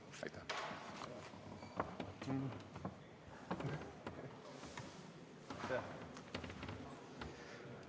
Aitäh!